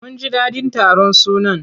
Mun ji daɗin taron sunan.